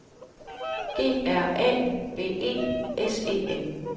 G R A V E S E N